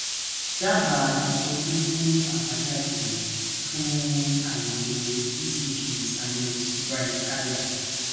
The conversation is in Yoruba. daba itọjú fun abajade fun ayewo ecg sinus brady cardia